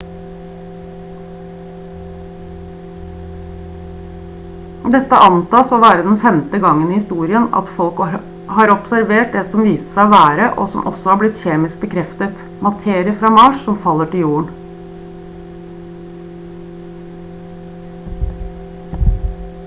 dette antas å være den femte gangen i historien at folk har observert det som viste seg å være og som også har blitt kjemisk bekreftet materie fra mars som faller til jorden